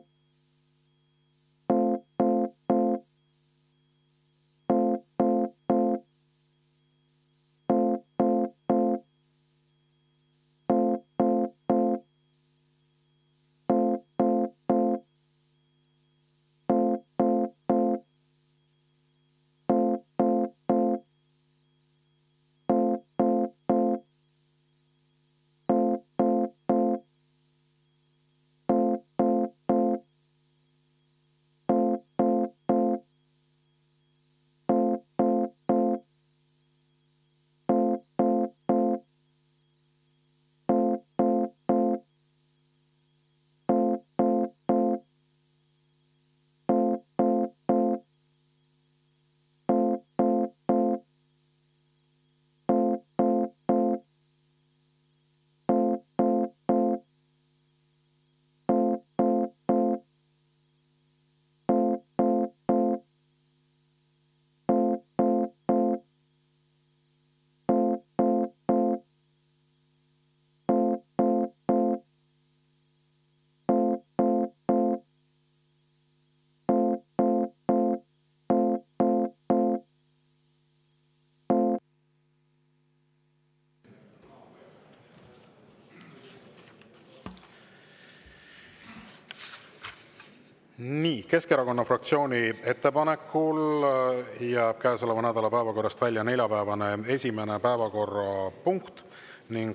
Nii, Keskerakonna fraktsiooni ettepanekul jääb käesoleva nädala päevakorrast välja neljapäevane esimene päevakorrapunkt.